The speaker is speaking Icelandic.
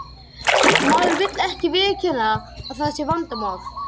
Maður vill ekki viðurkenna að það sé vandamál.